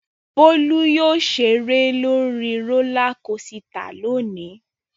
Bólú yóò ṣeré lórí rólá kosità lónìí.